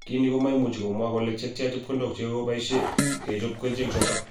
kiniik komaimuchi komwa kole chetya chepkondok chegogepaisie kochopei kerichek chotok